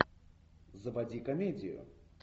заводи комедию